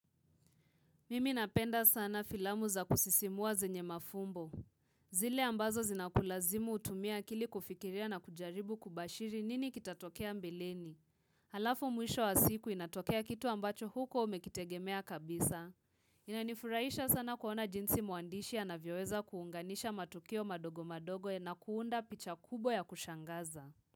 Mimi napenda sana filamu za kusisimuwa zenye mafumbo. Zile ambazo zinakulazimu utumie akili kufikiria na kujaribu kubashiri nini kitatokea mbeleni. Halafu mwisho wa siku inatokea kitu ambacho hukuwa umekitegemea kabisa. Inanifuraisha sana kuona jinsi mwandishi anavyoweza kuunganisha matukio madogo madogo na kuunda picha kubwa ya kushangaza.